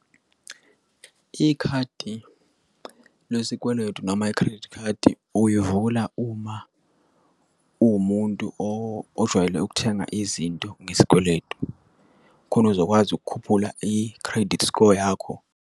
Ikhadi lesikweletu noma i-credit card uyivula uma uwumuntu ojwayele ukuthenga izinto ngesikweletu khona uzokwazi ukukhuphula i-credit score yakho.